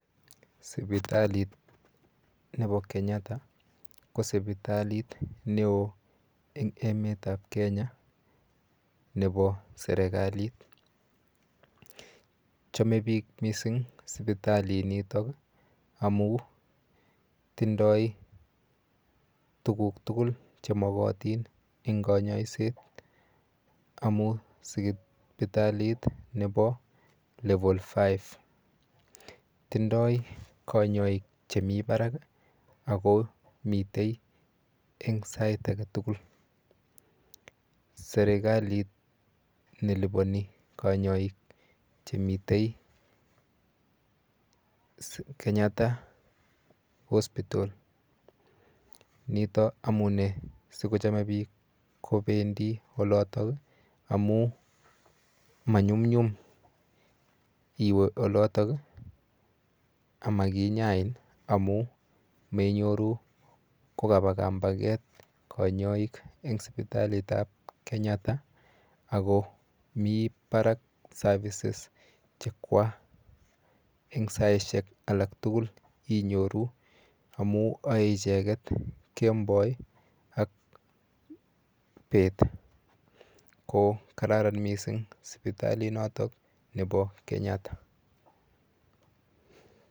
Sipitalit nepo Kenyatta ko sipitalit neo eng emetap Kenya nepo serikalit. Chome biik mising sipitalinitok amu tindoi tuguk tugul chemokotin eng kanyoiset amu sipitalit nepo level five. Tindoi kanyoik chemi barak ako mite eng sait aketugul. Serikalit nelipone kanyoik chemite Kenyatta hospital. Nito amune sikochome biik kopendi oloto amu manyumnyum iwe olotok amakinyain amu menyoru kapa kampaket kanyoik eng sipitalitap Kenyatta ako mi barak services chekwa eng saishek alak tugul inyoru amu oei icheket kemboi ak bet ko kararan mising sipitalinotok po Kenyatta.